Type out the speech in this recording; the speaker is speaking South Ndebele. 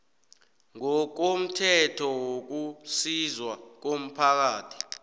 ngokomthetho wokusizwa komphakathi